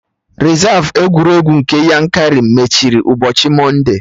Rezav egwuregwu nke Yankari mechiri ụbọchị Mọnde